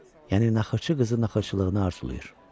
Yəni naxırçı qızı naxırçılığını arzulayır.